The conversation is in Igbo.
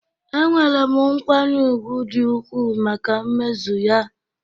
Enwere m nkwanye ùgwù dị ukwuu maka mmezu ya